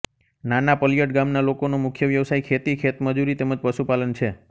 નાના પલીયડ ગામના લોકોનો મુખ્ય વ્યવસાય ખેતી ખેતમજૂરી તેમ જ પશુપાલન છે